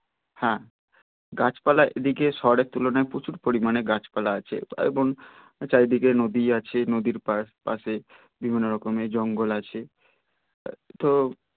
হ্যা গাছপালা এদিকে শহরের তুলনায় প্রচুর পরিমানে গাছপালা আছে এবং চারিদিকে নদী আছে নদীর পাড় পাশে বিভিন্ন রকম এর জঙ্গল আছে তো